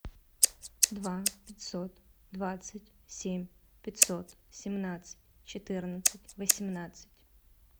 два пятьсот двадцать семь пятьсот семнадцать четырнадцать восемнадцать